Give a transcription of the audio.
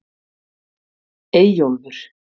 Eyjólfur